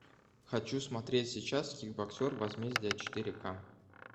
хочу смотреть сейчас кикбоксер возмездие четыре ка